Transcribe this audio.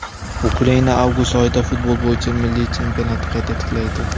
Ukraina avgust oyida futbol bo‘yicha milliy chempionatni qayta tiklaydi.